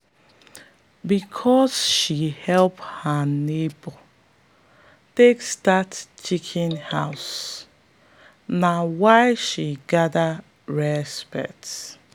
because say she help her neighbor take start chicken house na why she gather respect.